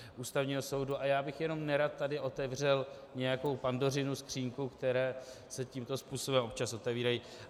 A já bych jenom nerad tady otevřel nějakou Pandořinu skříňku, které se tímto způsobem občas otevírají.